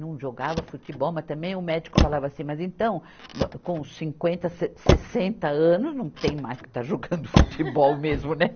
Não jogava futebol, mas também o médico falava assim, mas então, com cinquenta, sessenta anos, não tem mais que estar jogando futebol mesmo, né?